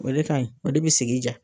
O de ka ɲi o de bɛ sigi duya.